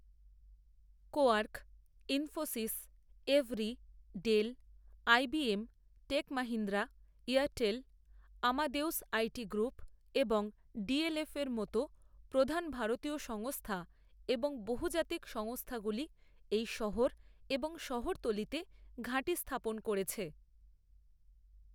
Quark, Infosys, Avery, Dell, IBM, Tech Mahindra, Airtel, Amadeus IT group এবং ডিএলএফের মতো প্রধান ভারতীয় সংস্থা এবং বহুজাতিক সংস্থাগুলি এই শহর এবং শহরতলিতে ঘাঁটি স্থাপন করেছে।